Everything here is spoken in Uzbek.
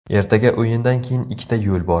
Ertaga o‘yindan keyin ikkita yo‘l bor.